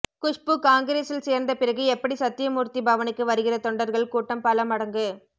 குஷ்பு காங்கிரசில் சேர்ந்த பிறகு எப்படி சத்திய மூர்த்தி பவனுக்கு வருகிற தொண்டர்கள் கூட்டம் பல மடங்கு